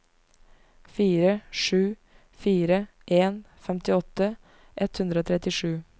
fire sju fire en femtiåtte ett hundre og trettisju